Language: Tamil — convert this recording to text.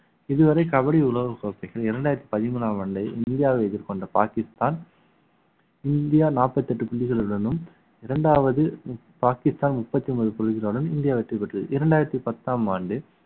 இதுவரை கபடி உலக கோப்பைகள் இரண்டாயிரத்தி பதிமூனாம் ஆண்டு இந்தியாவை எதிர்கொண்ட பாக்கிஸ்தான் இந்தியா நாற்பத்தி எட்டு புள்ளிகளுடனும் இரண்டாவது பாகிஸ்தான் முப்~ முப்பத்தி ஒன்பது புள்ளிகளாலும் இந்தியா வெற்றி பெற்றது இரண்டாயிரத்தி பத்தாம் ஆண்டு